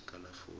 sekalafoni